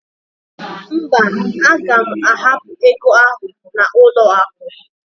Mba, aga m ahapụ ego ahụ n'ụlọakụ.